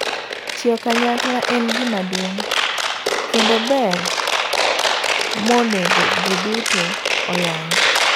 Tiyo kanyakla en gima duong' kendo ber monego ji duto oyang.